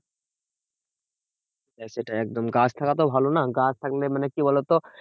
সেটাই একদম গাছ থাকাতো ভালো না? গাছ থাকলে মানে কি বোলো তো,